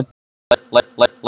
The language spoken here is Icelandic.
Þorlaug, læstu útidyrunum.